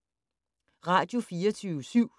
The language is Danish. Radio24syv